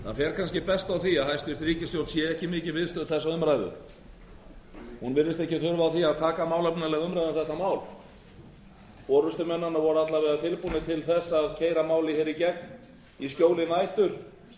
það fer kannski best á því að hæstvirt ríkisstjórn sé ekki mikið viðstödd þessa umræðu hún virðist ekki þurfa að taka málefnalega umræðu um þetta mál forustumenn hennar voru alla vega tilbúnir til að keyra málið í gegn í skjóli nætur